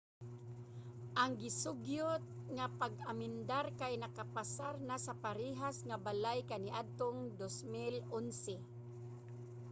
ang gisugyot nga pag-amendar kay nakapasar na sa parehas nga balay kaniadtong 2011